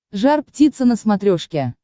жар птица на смотрешке